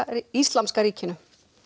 Íslamska ríkinu